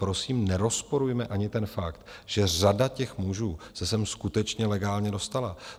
Prosím, nerozporujme ani ten fakt, že řada těch mužů se sem skutečně legálně dostala.